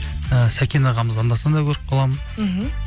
і сәкен ағамызды анда санда көріп қаламын мхм